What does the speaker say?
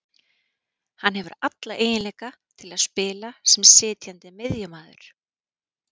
Hann hefur alla eiginleika til að spila sem sitjandi miðjumaður